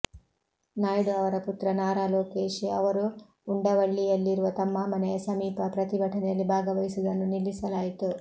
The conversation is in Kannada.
ನಾಯ್ಡು ಅವರ ಪುತ್ರ ನಾರಾ ಲೋಕೇಶ್ ಅವರು ಉಂಡವಳ್ಳಿಯಲ್ಲಿರುವ ತಮ್ಮ ಮನೆಯ ಸಮೀಪ ಪ್ರತಿಭಟನೆಯಲ್ಲಿ ಭಾಗವಹಿಸುವುದನ್ನು ನಿಲ್ಲಿಸಲಾಯಿತು